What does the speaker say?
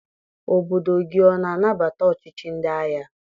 Obodo gị ọ na-anabata ọchịchị ndị agha?